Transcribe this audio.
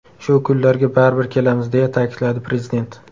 Shu kunlarga baribir kelamiz”, deya ta’kidladi Prezident.